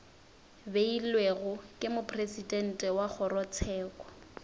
beilwego ke mopresidente wa kgorotsheko